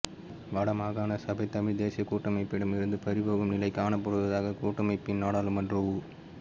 வட மாகாண சபை தமிழ் தேசிய கூட்டமைப்பிடமிருந்து பறிபோகும் நிலை காணப்படுவதாக கூட்டமைப்பின் நாடாளுமன்ற உ